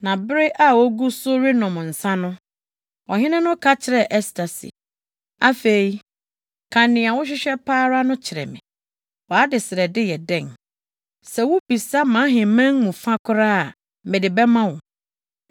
Na bere a wogu so renom nsa no, ɔhene no ka kyerɛɛ Ɛster se, “Afei, ka nea wohwehwɛ pa ara no kyerɛ me. Wʼadesrɛde yɛ dɛn? Sɛ wubisa mʼaheman mu fa koraa a, mede bɛma wo.”